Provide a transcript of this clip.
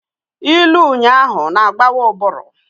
Ilu ụnyahụ na-agbawa ụbụrụ.